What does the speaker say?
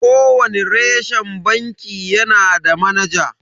Kowani reshen banki yanada manaja.